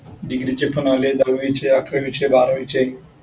degree चे पण लावलेत दहावीचे अकरावीचे बारावीचे.